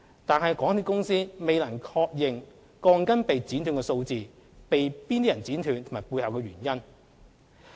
但是，港鐵公司未能確認鋼筋被剪短的數目、被何人剪短及其背後的原因。